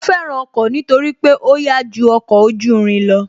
Mo fẹ́ràn ọkọ̀ nítorí pé ó yá ju ọkọ̀ ojú irin lọ